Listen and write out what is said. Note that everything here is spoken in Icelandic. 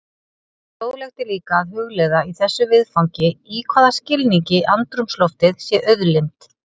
Fróðlegt er líka að hugleiða í þessu viðfangi í hvaða skilningi andrúmsloftið sé auðlind.